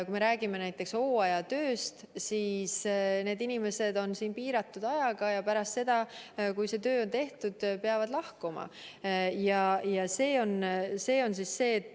Kui me räägime näiteks hooajatööst, siis need inimesed on siin piiratud aega ja pärast seda, kui töö on tehtud, peavad lahkuma.